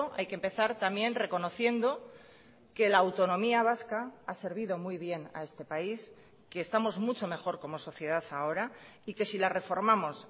hay que empezar también reconociendo que la autonomía vasca ha servido muy bien a este país que estamos mucho mejor como sociedad ahora y que si la reformamos